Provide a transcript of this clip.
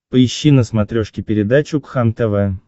поищи на смотрешке передачу кхлм тв